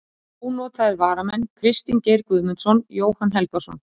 Ónotaðir varamenn: Kristinn Geir Guðmundsson, Jóhann Helgason.